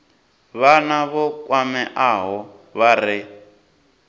vhana vho kwameaho vha re